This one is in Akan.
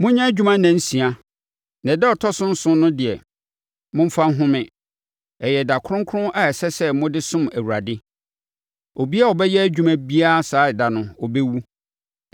Monyɛ adwuma nnansia. Na ɛda a ɛtɔ so nson no deɛ, momfa nhome; ɛyɛ ɛda kronkron a ɛsɛ sɛ mode som Awurade. Obiara a ɔbɛyɛ adwuma biara saa ɛda no, ɔbɛwu.